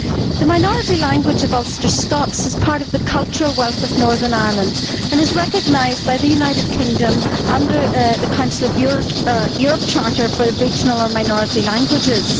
The minority language of Ulster Scots is part of the cultural wealth of Northern Ireland and is recognised by the United Kingdom under the Council of Europe Charter for Regional and Minority Languages.